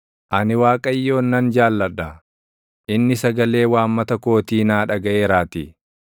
Ani Waaqayyoon nan jaalladha; inni sagalee waammata kootii naa dhagaʼeeraatii.